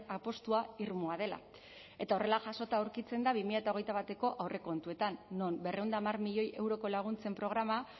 apustua irmoa dela eta horrela jasota aurkitzen da bi mila hogeita bateko aurrekontuetan non berrehun eta hamar milioi euroko laguntzen programa